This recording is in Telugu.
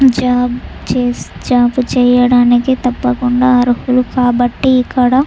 జాబ్ చేయడానికి తప్పకుండా అర్హులు కాబట్టి ఇక్కడ --